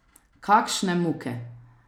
Kakšne muke!